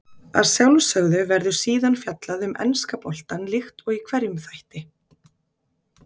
Að sjálfsögðu verður síðan fjallað um enska boltann líkt og í hverjum þætti.